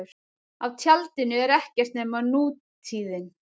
Á tjaldinu er ekkert nema nútíðin.